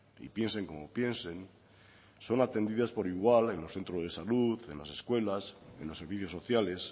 y piensen como piensen son aprendidas por igual en los centros de salud en las escuelas en los servicios sociales